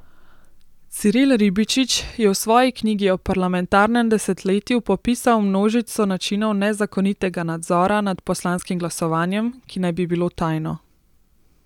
Ciril Ribičič je v svoji knjigi o parlamentarnem desetletju popisal množico načinov nezakonitega nadzora nad poslanskim glasovanjem, ki naj bi bilo tajno.